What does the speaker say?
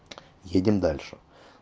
едем дальше